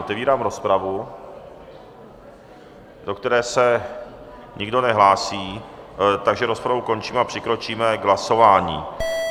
Otevírám rozpravu, do které se nikdo nehlásí, takže rozpravu končím a přikročíme k hlasování.